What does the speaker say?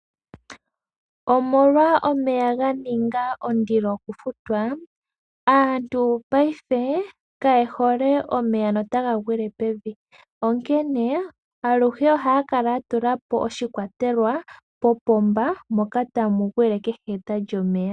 Omolwa omeya ganinga ondilo okufutwa ,aantu paife kaye hole omeya notaga gwile pevi, onkene aluhe ohaya kala ya tula po oshikwatelwa popomba moka tamu gwile kehe eta lyomeya.